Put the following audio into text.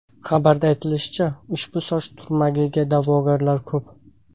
Xabarda aytilishicha, ushbu soch turmagiga da’vogarlar ko‘p.